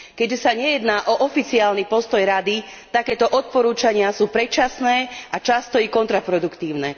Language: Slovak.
Keďže nejde o oficiálny postoj Rady, takéto odporúčania sú predčasné a často i kontraproduktívne.